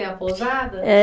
pousada. É